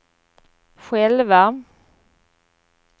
själva